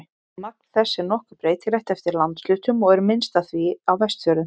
Magn þess er nokkuð breytilegt eftir landshlutum og er minnst af því á Vestfjörðum.